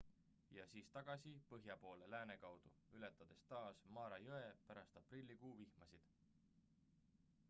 ja siis tagasi põhja poole lääne kaudu ületades taas mara jõe pärast aprillikuu vihmasid